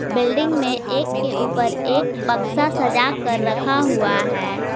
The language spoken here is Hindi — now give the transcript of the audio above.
बिल्डिंग में एक के ऊपर एक बक्सा सजा कर रखा हुआ है।